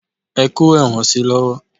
Ẹ kó ẹ̀wọ̀n si lọ́wọ́!